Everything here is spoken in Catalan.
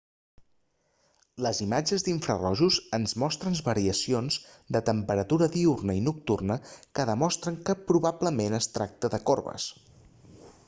les imatges d'infrarojos ens mostren variacions de temperatura diürna i nocturna que demostren que probablement es tracta de coves